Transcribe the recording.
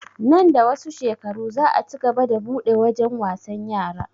Nan da wasu shekaru za a cigaba da buɗe wajen wasan yara